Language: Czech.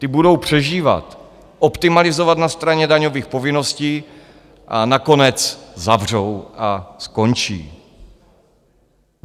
Ty budou přežívat, optimalizovat na straně daňových povinností a nakonec zavřou a skončí.